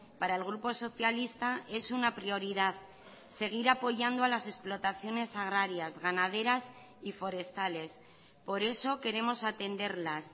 para el grupo socialista es una prioridad seguir apoyando a las explotaciones agrarias ganaderas y forestales por eso queremos atenderlas